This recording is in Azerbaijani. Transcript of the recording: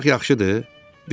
Uçmaq yaxşıdır?